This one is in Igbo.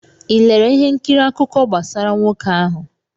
ị lere ihe nkiri akụkọ gbasara nwoke ahụ?